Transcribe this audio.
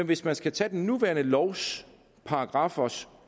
hvis man skal tage den nuværende lovs paragraffers